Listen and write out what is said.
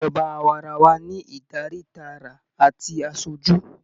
Ìjọba awaarawa ní Ìdarí tààrà àti asojú.